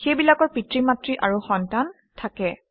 সেইবিলাকৰ পিতৃ মাতৃ আৰু সন্তান থাকে